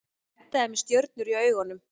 Edda með stjörnur í augunum.